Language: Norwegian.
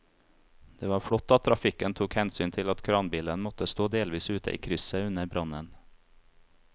Det var flott at trafikken tok hensyn til at kranbilen måtte stå delvis ute i krysset under brannen.